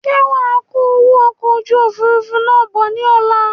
Ṣe wàá kó owó okò ojú òfurufú náà bọ̀ ní ọ̀la?